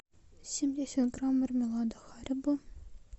семьдесят грамм мармелада харибо